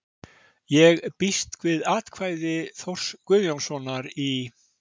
Ég býst við að atkvæði Þórs Guðjónssonar í